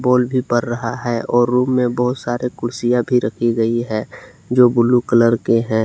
Bulb भी बर रहा है और रूम में बहुत सारे कुर्सियां भी रखी गई है जो ब्लू कलर के हैं।